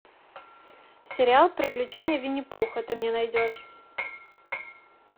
сериал приключения винни пуха ты мне найдешь